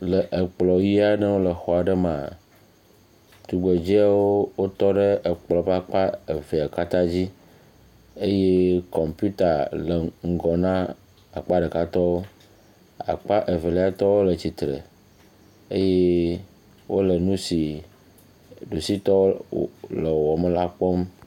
Le ekplɔ ʋi aɖe ŋu le xɔ aɖe me, tugbedzɛwo wotɔ ɖe ekplɔ ƒe akpa evea katã dzi, eye kɔmpita le ŋgɔ na akpa ɖekatɔwo, akpa eveliatɔwo le tsitre eye wole nu si ɖusitɔwo le wɔwɔm la kpɔm.